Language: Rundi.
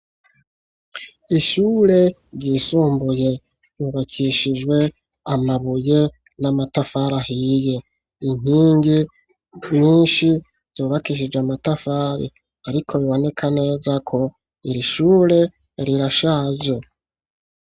Ishure ryisumbuye, ryubakishijwe amabuye n'amatafari ahiye, inkingi nyinshi zubakishije amatafari, ariko biboneka neza ko iri shure rirashaje.